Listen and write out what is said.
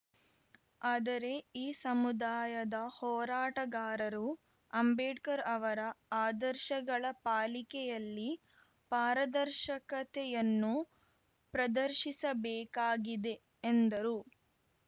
ಆದರೆ ಈ ಸಮುದಾಯದ ಹೋರಾಟಗಾರರು ಅಂಬೇಡ್ಕರ್‌ ಅವರ ಆದರ್ಶಗಳ ಪಾಲಿಕೆಯಲ್ಲಿ ಪಾರದರ್ಶಕತೆಯನ್ನು ಪ್ರದರ್ಶಿಸಬೇಕಾಗಿದೆ ಎಂದರು